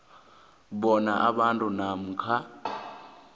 bona umuntu namkha